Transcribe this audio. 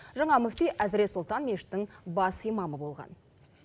жаңа мүфти әзірет сұлтан мешітінің бас имамы болған